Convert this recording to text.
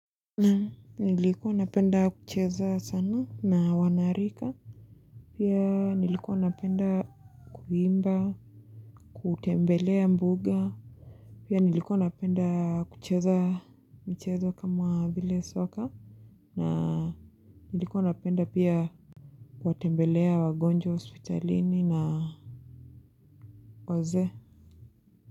Naam, nilikuwa napenda kucheza sana na wanarika pia nilikuwa napenda kuimba, kutembelea mbuga pia nilikuwa napenda kucheza mchezo kama vile soka na nilikuwa napenda pia kuwatembelea wagonjwa hospitalini na wazee.